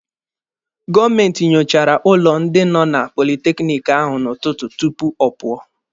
Gọọmenti nyochara ụlọ ndị nọ na politekiniki ahụ n'ụtụtụ tupu ọ pụọ.